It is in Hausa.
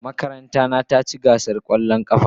Makaranta na ta ci gasar kwallon kafa.